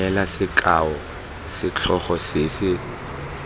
neela sekao setlhogo se se